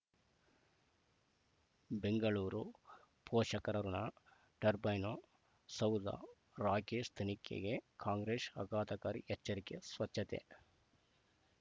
ಬೆಂಗಳೂರು ಪೋಷಕರಋಣ ಟರ್ಬೈನು ಸೌಧ ರಾಕೇಶ್ ತನಿಖೆಗೆ ಕಾಂಗ್ರೆಸ್ ಆಘಾತಕಾರಿ ಎಚ್ಚರಿಕೆ ಸ್ವಚ್ಛತೆ